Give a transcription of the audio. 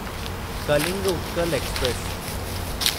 Kalinga Utkal express